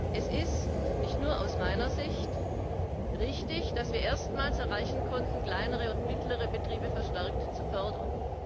Es ist nicht nur aus meiner Sicht richtig, dass wir erstmals erreichen konnten, kleinere und mittlere Betriebe verstärkt zu fördern.